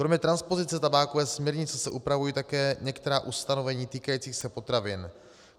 Kromě transpozice tabákové směrnice se upravují také některá ustanovení týkající se potravin: